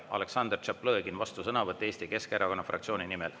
Aleksandr Tšaplõgin, vastusõnavõtt Eesti Keskerakonna fraktsiooni nimel.